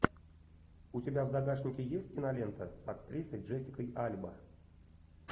у тебя в загашнике есть кинолента с актрисой джессикой альба